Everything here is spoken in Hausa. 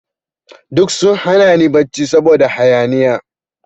Duk sun hana ni barci saboda hayaniya.